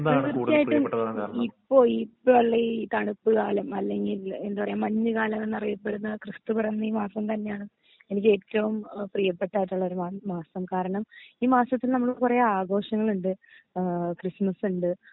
തീർച്ചായിട്ടും ഇപ്പൊ ഇപ്പളെ ഈ തണുപ്പ് കാലം അല്ലെങ്കിൽ എന്താ പറയാ മഞ്ഞ് കാലന്നറിയപെടുന്ന ക്രിസ്തു പിറന്ന ഈ മാസം തന്നെയാണ് എനിക്ക് ഏറ്റവും ഏഹ് പ്രിയപ്പെട്ട അതുള്ള ഒര് മാ മാസം കാരണം ഈ മാസത്തിൽ നമ്മൾ കൊറേ ആഘോഷങ്ങള്ണ്ട് ഏഹ് ക്രിസ്മസിണ്ട്